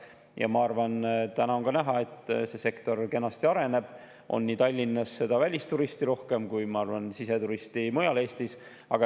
Täna, ma arvan, on näha, et see sektor kenasti areneb: Tallinnas on välisturiste rohkem kui mujal Eestis siseturiste.